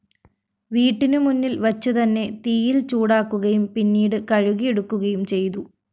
വീട്ടിനു മുന്നില്‍ വച്ചുതന്നെ തീയില്‍ ചൂടാക്കുകയും പിന്നീട് കഴുകിയെടുക്കുകയും ചെയ്തു